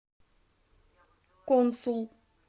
консул